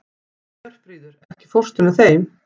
Hjörfríður, ekki fórstu með þeim?